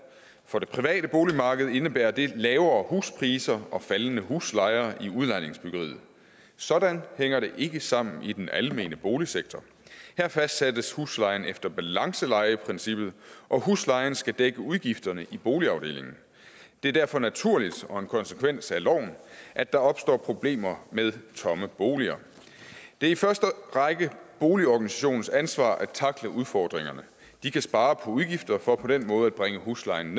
for det private boligmarked indebærer det lavere huspriser og faldende huslejer i udlejningsbyggeriet sådan hænger det ikke sammen i den almene boligsektor her fastsættes huslejen efter balancelejeprincippet og huslejen skal dække udgifterne i boligafdelingen det er derfor naturligt og en konsekvens af loven at der opstår problemer med tomme boliger det er i første række boligorganisationens ansvar at takle udfordringerne de kan spare på udgifterne for på den måde at bringe huslejen